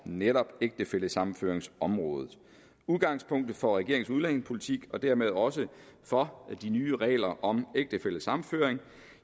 netop ægtefællesammenføringsområdet udgangspunktet for regeringens udlændingepolitik og dermed også for de nye regler om ægtefællesammenføring